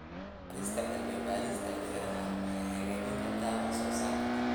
Horumarinta cilmi-baarista beeraha waxay hagaajin kartaa wax soo saarka.